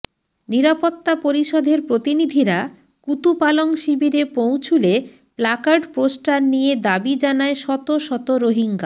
নিরাপত্তা পরিষদের প্রতিনিধিরা কুতুপালং শিবিরে পৌঁছুলে প্লাকার্ড পোস্টার নিয়ে দাবি জানায় শত শত রোহিঙ্গা